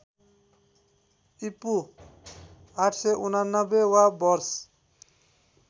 ईपू ८८९ वा वर्ष